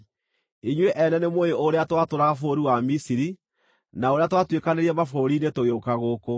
Inyuĩ ene nĩmũũĩ ũrĩa twatũũraga bũrũri wa Misiri na ũrĩa twatuĩkanĩirie mabũrũri-inĩ tũgĩũka gũkũ.